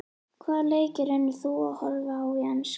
Hvaða leiki reynir þú að horfa á í enska?